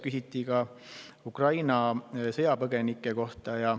Küsiti ka Ukraina sõjapõgenike kohta.